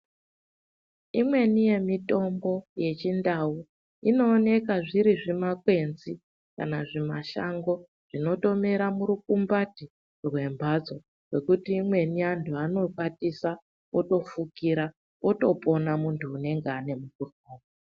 Imweni yemitombo yechindau inooneka zviri zvimakwenzi kana zvimashango zvinotomera murukumbati rwembatso yekuti imweni antu anokwatisa otofukira otopona muntu unenge ane mukhuhlani.